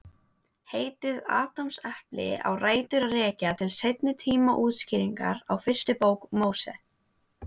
Heitið Adamsepli á rætur að rekja til seinni tíma útskýringar á fyrstu bók Móse.